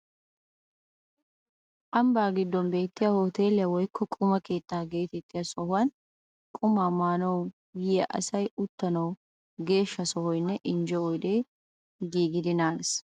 Ambbaa giddon beettiya hooteeliya woykko quma keettaa geetettiya sohuwan quma maanawu yiya asay uttanawu geeshsha sohoynne injje oydee giigidi naagees.